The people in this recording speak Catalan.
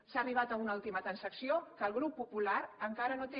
s’ha arribat a una última transacció que el grup popular encara no té